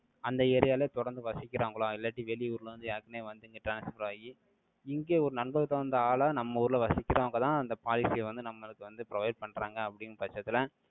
அந்த area லயே தொடர்ந்து வசிக்கிறாங்களா? இல்லாட்டி, வெளியூர்ல வந்து, ஏற்கனவே வந்து, இங்க transfer ஆயி, இங்க ஒரு நம்பகதகுந்த ஆளா, நம்ம ஊர்ல வசிக்கிறவங்கதான், அந்த policy ய வந்து, நம்மளுக்கு வந்து provide பண்றாங்க அப்படின்ற பட்சத்துல,